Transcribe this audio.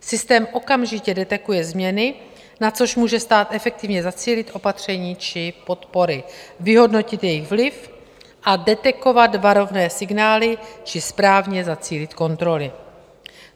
Systém okamžitě detekuje změny, na což může stát efektivně zacílit opatření či podpory, vyhodnotit jejich vliv a detekovat varovné signály či správně zacílit kontroly.